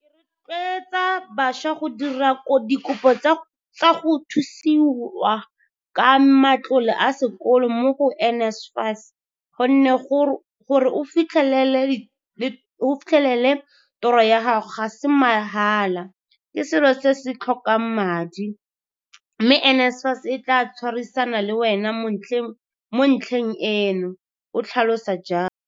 Ke rotleotsa bašwa go dira dikopo tsa go thusiwa ka matlole a sekolo mo go NSFAS gonne gore o fitlhe lele toro ya gago ga se ma hala, ke selo se se tlhokang madi, mme NSFAS e tla tshwarisana le wena mo ntlheng eno, o tlhalosa jalo.